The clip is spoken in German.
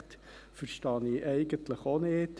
Das verstehe ich eigentlich ebenfalls nicht.